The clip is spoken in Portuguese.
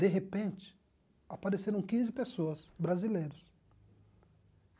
De repente, apareceram quinze pessoas brasileiras.